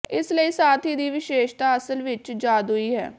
ਇਸ ਲਈ ਸਾਥੀ ਦੀ ਵਿਸ਼ੇਸ਼ਤਾ ਅਸਲ ਵਿੱਚ ਜਾਦੂਈ ਹੈ